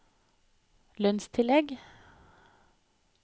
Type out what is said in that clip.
lønnstillegg